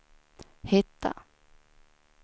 hitta